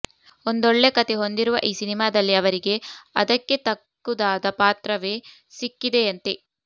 ಒಂದೊಳ್ಳೆ ಕಥೆ ಹೊಂದಿರುವ ಈ ಸಿನಿಮಾದಲ್ಲಿ ಅವರಿಗೆ ಅದಕ್ಕೆ ತಕ್ಕುದಾದ ಪಾತ್ರವೇ ಸಿಕ್ಕಿದೆಯಂತೆ